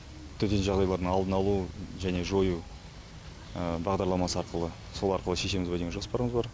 төтенше жағдайлардың алдын алу және жою бағдарламасы арқылы сол арқылы шешеміз бе деген жоспарымыз бар